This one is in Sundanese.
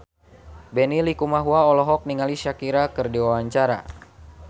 Benny Likumahua olohok ningali Shakira keur diwawancara